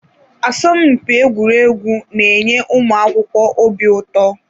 Asọmpi egwuregwu na-enye ụmụ akwụkwọ obi ụtọ.